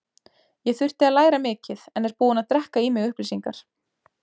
Ég þurfti að læra mikið en er búinn að drekka í mig upplýsingar.